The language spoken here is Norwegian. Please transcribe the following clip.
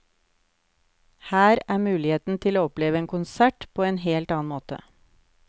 Her er muligheten til å oppleve en konsert på en helt annen måte.